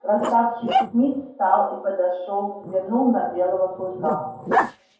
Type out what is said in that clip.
красавчик смит встал и подошёл взглянул на белого клыка